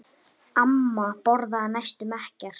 Amma borðaði næstum ekkert.